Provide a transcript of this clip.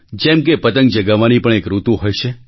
જેમ કે પતંગ ચગાવવાની પણ એક ઋતુ હોય છે